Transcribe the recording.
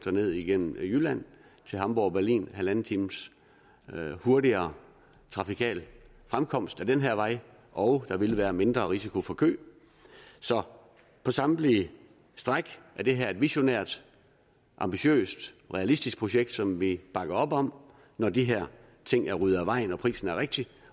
og ned igennem jylland til hamborg og berlin en en halv times hurtigere trafikal fremkomst ad den her vej og der vil være mindre risiko for kø så på samtlige stræk er det her et visionært ambitiøst realistisk projekt som vi bakker op om når de her ting er ryddet af vejen og prisen er rigtig